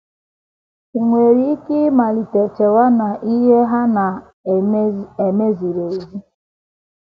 I um nwere ike ịmalite chewa na um ihe ha na um - eme ziri ezi. ”